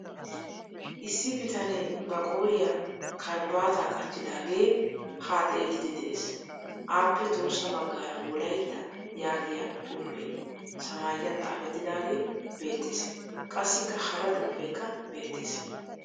Issi bitanee ba qooriya karabaataa qachchidaagee haa xelliiddi dees. Aappe tohossa baggaara "wolaita" yaagiyaa xuufee samaayiyan xaafettidaagee beettes. Qassikka hara xuufeekka beettes.